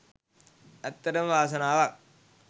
ඇත්තටම වාසනාවක්.